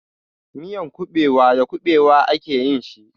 Miyan kuɓewa da kuɓewa a ke yin shi.